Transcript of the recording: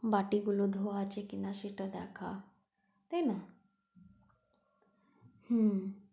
বাটি গুলো ধোওয়া আছে কিনা সেটা দেখা তাইনা? হুম।